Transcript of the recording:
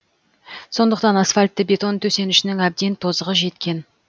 сондықтан асфальтты бетон төсенішінің әбден тозығы жеткен